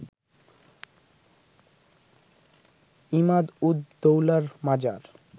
ইমাদ-উদ-দৌলার মাজার